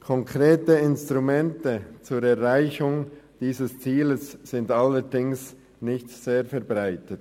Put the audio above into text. Konkrete Instrumente zur Erreichung dieses Ziels sind allerdings nicht weit verbreitet.